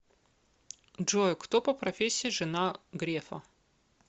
джой кто по профессии жена грефа